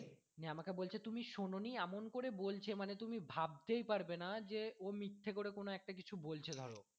নিয়ে আমাকে বলছে তুমি শোনোনি এমন করে বলছে যে তুমি ভাবতেই পারবেনা যে ও মিথ্যে করে কোনো একটা কিছু বলছে ধরো।